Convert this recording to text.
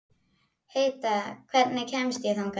Heida, hvernig kemst ég þangað?